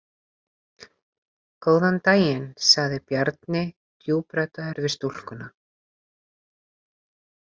Góðan daginn, sagði Bjarni djúpraddaður við stúlkuna.